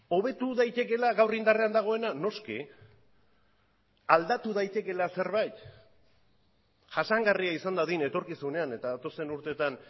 hobetu daitekeela gaur indarrean dagoena noski aldatu daitekeela zerbait jasangarria izan dadin etorkizunean eta datozen urteetan